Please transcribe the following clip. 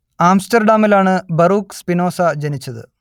ആംസ്റ്റർഡാമിലാണ് Baruch Spinoza ജനിച്ചത്